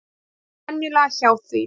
Kom sér venjulega hjá því.